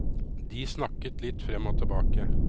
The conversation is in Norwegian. De snakket litt frem og tilbake.